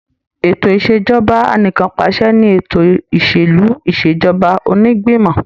Ètò Ìṣèjọba Anìkanpàṣẹ ni ètò ìsèlú ìṣèjọba onígbìmọ̀.